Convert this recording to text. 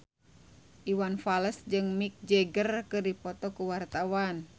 Iwan Fals jeung Mick Jagger keur dipoto ku wartawan